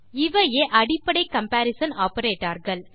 இவையே அடிப்படையான comparison operators